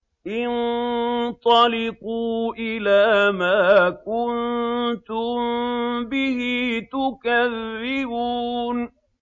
انطَلِقُوا إِلَىٰ مَا كُنتُم بِهِ تُكَذِّبُونَ